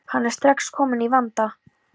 Hann er strax kominn í vanda.